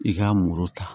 I ka muru ta